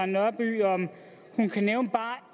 nørby om hun kan nævne bare